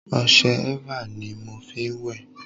ọṣẹ eva ni mo fí n wẹ̀